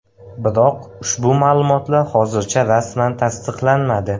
Biroq ushbu ma’lumotlar hozircha rasman tasdiqlanmadi.